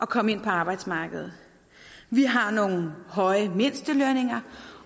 komme ind på arbejdsmarkedet vi har nogle høje mindstelønninger